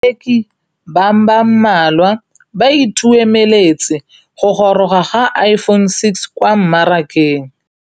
Bareki ba ba malwa ba ituemeletse go gôrôga ga Iphone6 kwa mmarakeng.